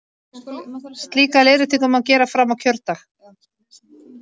Slíka leiðréttingu má gera fram á kjördag.